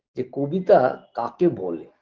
যে কবিতা কাকে বলে